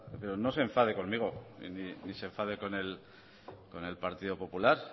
pero no se enfade conmigo ni se enfade con el partido popular